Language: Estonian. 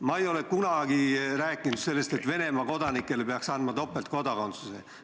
Ma ei ole kunagi rääkinud sellest, et Venemaa kodanikele peaks andma topeltkodakondsuse.